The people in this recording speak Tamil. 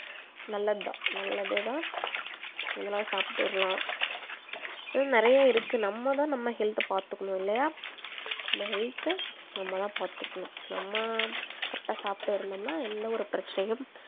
நல்லது தான் நல்லதே தான் இதெல்லாம் சாப்பிட்டுறலாம் நிறைய இருக்கு நம்ம தான் நம்ம health அ பாத்துக்கணும் இல்லையா நம்ம health நம்ம தான் பாத்துக்கணும் நம்ம correct ஆ சாப்பிட்டு இருந்தோம்னா எந்த ஒரு பிரச்சனையும்